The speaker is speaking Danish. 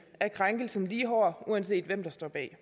er krænkelsen lige hård uanset hvem der står bag